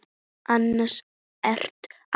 Annars ertu ágætur.